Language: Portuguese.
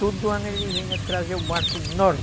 Todo ano ele vinha trazer o barco enorme.